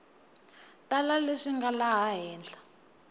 tala leswi nga laha henhla